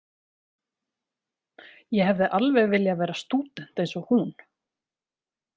Ég hefði alveg viljað vera stúdent eins og hún.